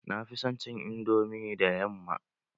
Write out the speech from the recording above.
Na fi son cin indomi da yamma.